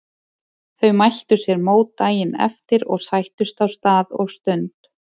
Þau mæltu sér mót daginn eftir og sættust á stað og stund.